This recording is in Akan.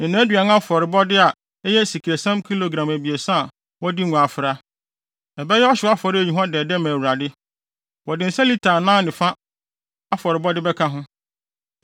ne nʼaduan afɔrebɔde a ɛyɛ esiam kilogram abiɛsa a wɔde ngo afra. Ɛbɛyɛ ɔhyew afɔre a eyi hua dɛdɛ ma Awurade. Wɔde nsa lita anan ne fa afɔrebɔde bɛka ho.